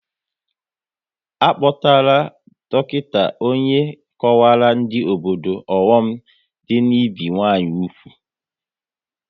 A kpọtara dọkịta onye kọwaara ndị obodo ọghọm dị n'ibi nwanyị úgwù